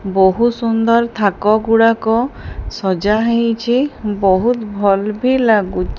ବହୁତ ସୁନ୍ଦର ଥାକ ଗୁଡାକ ସଜା ହେଇଛି ବହୁତ ଭଲ୍ ଭି ଲାଗୁଚ --